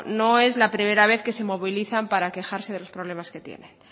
no es la primera vez que se movilizan para quejarse de los problemas que tienen